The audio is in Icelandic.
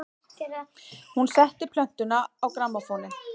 Hún setti plötuna á grammófóninn.